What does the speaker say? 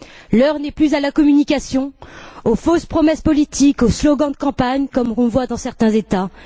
L'heure n'est plus à la communication, aux fausses promesses politiques, aux slogans de campagne, comme on le voit dans certains États.